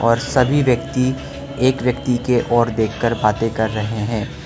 और सभी व्यक्ति एक व्यक्ति के ओर देखकर बाते कर रहे हैं।